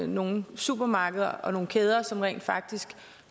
nogle supermarkeder og nogle kæder som rent faktisk